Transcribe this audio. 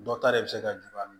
Dɔ ta de be se ka min